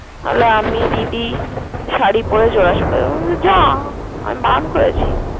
আমি আমি দিদি শাড়ি পরে যাওয়া আসা করবো। আমি বললাম যা আমি বারন করেছি?